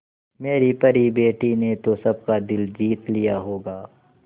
मेरी परी बेटी ने तो सबका दिल जीत लिया होगा